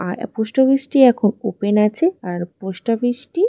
আর এ post office এখন open আছে। আর পোস্ট অফিস টি--